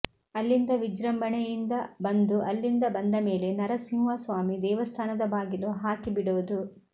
ಅಲ್ಲಿಂದ ವಿಜೃಂಭಣೆಯಿಂದ ಬಂದು ಅಲ್ಲಿಂದ ಬಂದಮೇಲೆ ನರಸಿಂಹಸ್ವಾಮಿ ದೇವಸ್ಥಾನದ ಬಾಗಿಲು ಹಾಕಿಬಿಡೋದು